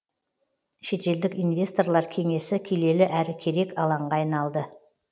шетелдік инвесторлар кеңесі келелі әрі керек алаңға айналды